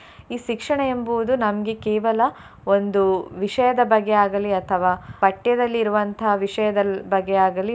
ಈ ಶಿಕ್ಷಣ ಎಂಬುವುದು ನಮ್ಗೆ ಕೇವಲ ಒಂದು ವಿಷಯದ ಬಗ್ಗೆ ಆಗಲಿ ಅಥವಾ ಪಠ್ಯದಲ್ಲಿರುವಂತಹ ವಿಷಯದ ಬಗ್ಗೆ ಆಗಲಿ.